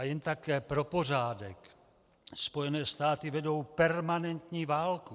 A jen tak pro pořádek, Spojené státy vedou permanentní válku.